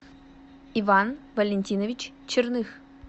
иван валентинович черных